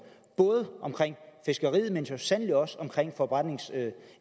fiskeriet men så sandelig også